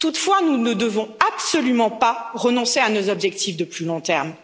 Toutefois, nous ne devons absolument pas renoncer à nos objectifs de plus long terme.